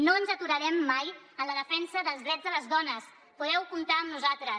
no ens aturarem mai en la defensa dels drets de les dones podeu comptar amb nosaltres